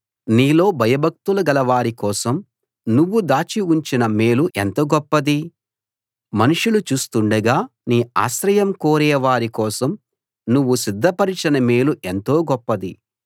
నీలో భయభక్తులు గలవారి కోసం నువ్వు దాచి ఉంచిన మేలు ఎంత గొప్పది మనుషులు చూస్తుండగా నీ ఆశ్రయం కోరేవారి కోసం నువ్వు సిద్ధపరచిన మేలు ఎంతో గొప్పది